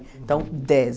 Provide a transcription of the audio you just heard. Então, dez.